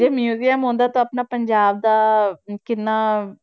ਜੇ museum ਹੁੰਦਾ ਤਾਂ ਆਪਣਾ ਪੰਜਾਬ ਦਾ ਕਿੰਨਾ